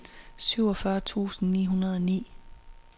syvogfyrre tusind ni hundrede og ni